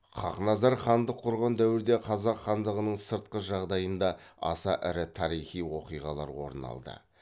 хақназар хандық құрған дәуірде қазақ хандығының сыртқы жағдайында аса ірі тарихи оқиғалар орын алды